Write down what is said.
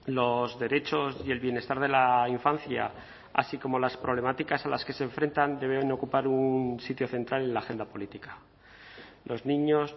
los derechos y el bienestar de la infancia así como las problemáticas a las que se enfrentan debe ocupar un sitio central en la agenda política los niños